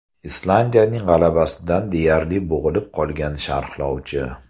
Islandiyaning g‘alabasidan deyarli bo‘g‘ilib qolgan sharhlovchi.